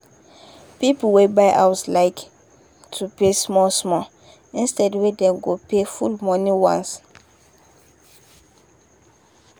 people wey buy house like to pay small-small instead wey dem go pay full money once.